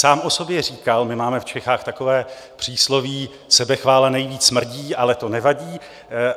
Sám o sobě říkal - my máme v Čechách takové přísloví, sebechvála nejvíc smrdí, ale to nevadí.